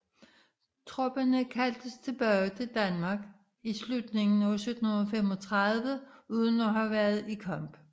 Tropperne kaldtes tilbage til Danmark i slutningen af 1735 uden at have været i kamp